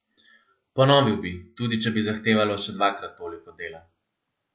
Ponovil bi, tudi če bi zahtevalo še dvakrat toliko dela.